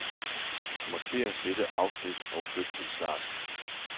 Markér dette afsnit og flyt til start.